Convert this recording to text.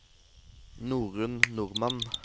Norunn Normann